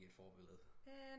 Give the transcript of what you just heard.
Ikke et forbillede